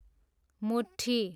मुठ्ठी